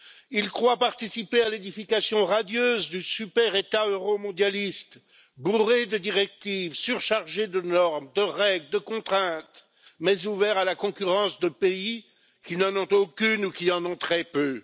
Ils croient participer à l'édification radieuse d'un super État euromondialiste bourré de directives, surchargé de normes, de règles, de contraintes, mais ouvert à la concurrence de pays qui n'en ont aucune ou qui en ont très peu.